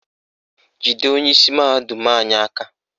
Jide onyeisi mahadum anyị aka!